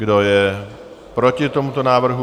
Kdo je proti tomuto návrhu?